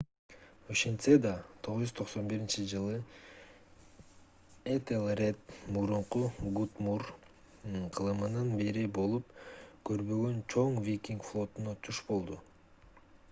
ошентсе да 991-жылы этелред мурунку гутрум кылымынан бери болуп көрбөгөн чоң викинг флотуна туш болду